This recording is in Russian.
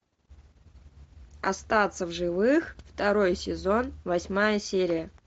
остаться в живых второй сезон восьмая серия